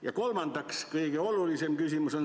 Ja kolmas, kõige olulisem küsimus.